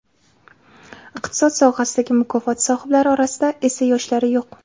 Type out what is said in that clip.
Iqtisod sohasidagi mukofot sohiblari orasida esa yoshlari yo‘q.